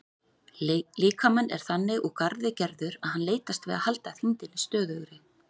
Líkaminn er þannig úr garði gerður að hann leitast við að halda þyngdinni stöðugri.